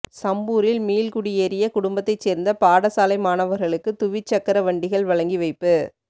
சம்பூரில் மீள்குடியேறிய குடும்பத்தைச் சேர்ந்த பாடசாலை மாணவர்களுக்கு துவிச்சக்கரவண்டிகள் வழங்கி வைப்பு